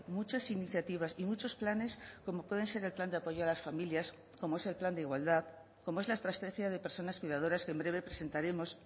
muchas iniciativas y muchos planes como pueden ser el plan de apoyo a las familias como es el plan de igualdad como es la estrategia de personas cuidadoras que en breve presentaremos